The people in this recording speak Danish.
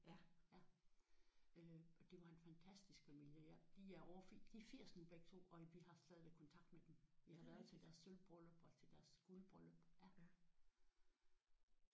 Det var en fantastisk familie jeg de er over de er 80 nu begge to og vi har stadigvæk kontakt med dem. Vi har været til deres sølvbryllup og til deres guldbryllup